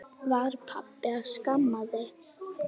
Var pabbi að skamma þig?